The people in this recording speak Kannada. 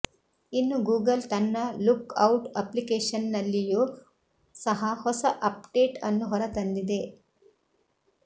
ಇನ್ನು ಗೂಗಲ್ ತನ್ನ ಲುಕ್ ಔಟ್ ಅಪ್ಲಿಕೇಶನ್ನಲ್ಲಿಯೂ ಸಹ ಹೊಸ ಆಪ್ಡೇಟ್ ಅನ್ನು ಹೊರತಂದಿದೆ